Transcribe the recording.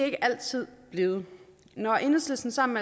ikke altid blevet når enhedslisten sammen